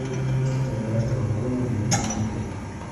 есть ли номера с балконами в этом отеле